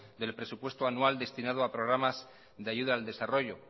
del presupuesto anual destinado al programas de ayuda al desarrollo